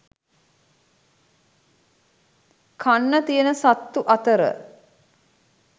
කන්න තියෙන සත්තු අතර